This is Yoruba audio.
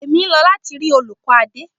Èmi ń lọ láti rí olùkọ́ Adé.